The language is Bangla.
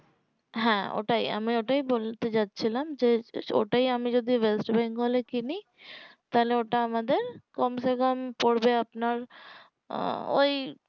হ্যাঁ ওটাই আমি ওটাই বলতে যাচ্ছিলাম যে ওটাই যদি আমি ওয়েস্ট বেঙ্গল এ কিনি তাহলে ওটা আমাদের কমসেকম পড়বে আপনার আহ ওই